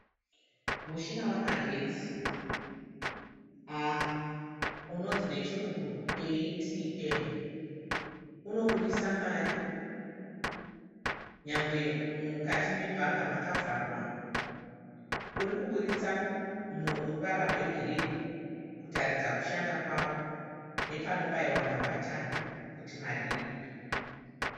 Mushina wamagetsi unonzi nechirungu ATM. Unobudisa mari nyangwe mukati mebhanga makavharwa. Uri kuburitsa ruvara rwegirini kutaridza kushanda kwavo nepanobaiwa mabhatani kuti mari ibude.